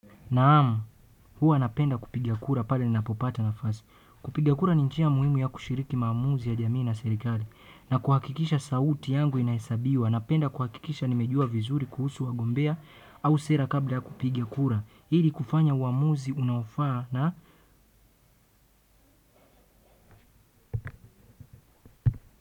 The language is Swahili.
Naam, huwa napenda kupiga kura pale ninapopata nafasi. Kupiga kura ni njia muhimu ya kushiriki maamuzi ya jamii na serikali. Na kuhakikisha sauti yangu inahesabiwa. Napenda kuhakikisha nimejua vizuri kuhusu wagombea au sera kabla ya kupiga kura. Ili kufanya uamuzi unaofaa na.